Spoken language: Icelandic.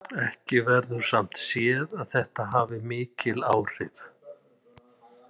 Ekki verður samt séð að þetta hafi mikil áhrif.